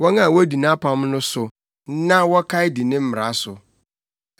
wɔn a wodi nʼapam no so na wɔkae di ne mmara so.